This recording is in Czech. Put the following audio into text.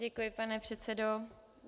Děkuji, pane předsedo.